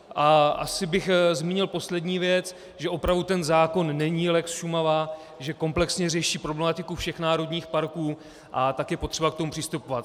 A asi bych zmínil poslední věc, že opravdu ten zákon není lex Šumava, že komplexně řeší problematiku všech národních parků a tak je potřeba k tomu přistupovat.